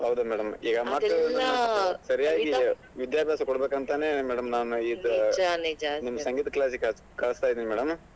ಹೌದು madam ಸರಿಯಾಗಿ ವಿದ್ಯಾಭ್ಯಾಸ ಕೊಡ್ಬೇಕು ಅಂತಾನೇ madam ನಾನ್ ಇದ್ ನಿಮ್ ಸಂಗೀತ class ಗೆ ಕಳಿಸ್ತಾಯಿದಿನ್ madam